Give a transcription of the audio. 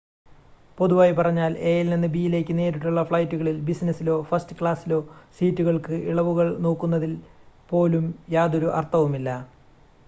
പൊതുവായി പറഞ്ഞാൽ എ-യിൽ നിന്ന് ബി-യിലേക്ക് നേരിട്ടുള്ള ഫ്ലൈറ്റുകളിൽ ബിസിനസ്സിലോ ഫസ്റ്റ് ക്ലാസ്സിലോ സീറ്റുകൾക്ക് ഇളവുകൾ നോക്കുന്നതിൽ പോലും യാതൊരു അർത്ഥവുമില്ല